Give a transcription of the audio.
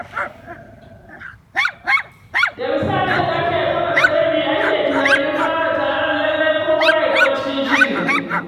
Da misalin ƙarfe takwas da rabi ake tunanin fara taron lallai kowa ya zama cikin shiri.